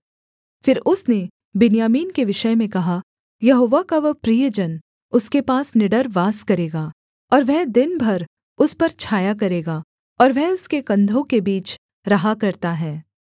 फिर उसने बिन्यामीन के विषय में कहा यहोवा का वह प्रिय जन उसके पास निडर वास करेगा और वह दिन भर उस पर छाया करेगा और वह उसके कंधों के बीच रहा करता है